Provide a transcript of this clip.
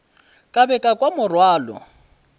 ka be ka kwa morwalo